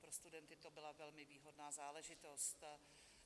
Pro studenty to byla velmi výhodná záležitost.